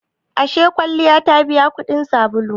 Ashe kwalliya ta biya kudin sabulu?